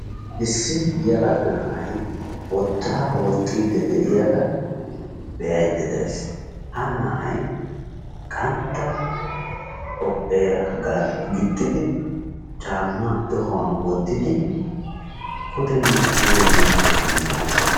issi yelaga na'ay wottaa wooxxidi de'iyaagaa be'ayda days. ha na'ay qantta hophera giixxidi caammaa tohuwaan wottidi puddenne duge wooxxidi de'ees.